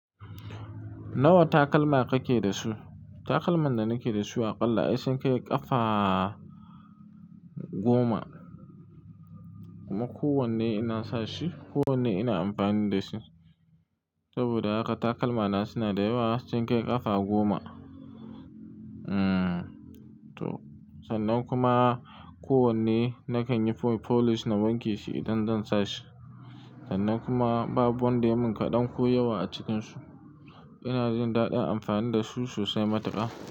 Nawa takalma kake da su? Takalman da nake da su a ƙalla ai sun kai ƙafa goma. Kuma kowanne ina sa shi, kowanne ina amfani da shi. Saboda haka takalma na suna da yawa, sun kai ƙafa goma. Hmm, to sannan kuma kowanne nakan yi polish na wanke shi idan zan sa shi. Sannan kuma babu wanda ya mun kaɗan ko yawa a cikinsu. Ina jin daɗin amfani da su sosai matuka.